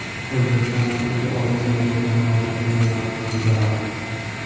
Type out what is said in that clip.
O‘zbekiston va Turkiya oliy saylov organlari o‘rtasida memorandum imzolandi.